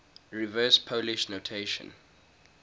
reverse polish notation